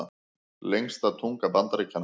Lengsta tunga Bandaríkjanna